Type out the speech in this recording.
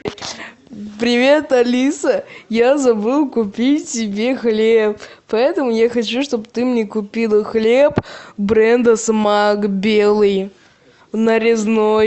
привет алиса я забыл купить себе хлеб поэтому я хочу чтобы ты мне купила хлеб бренда смак белый нарезной